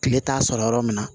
Tile t'a sɔrɔ yɔrɔ min na